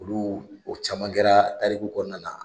Olu o caman kɛra tariku kɔnɔna na.